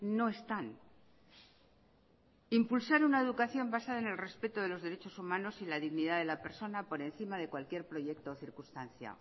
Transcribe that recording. no están impulsar una educación basada en el respeto de los derechos humanos y la dignidad de la persona por encima de cualquier proyecto o circunstancia